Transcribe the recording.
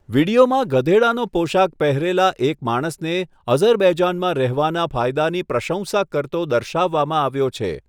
વીડિયોમાં ગધેડાનો પોશાક પહેરેલા એક માણસને અઝરબૈજાનમાં રહેવાના ફાયદાની પ્રશંસા કરતો દર્શાવવામાં આવ્યો છે.